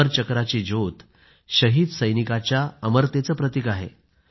अमर चक्राची ज्योत शहीद सैनिकाच्या अमरतेचं प्रतीक आहे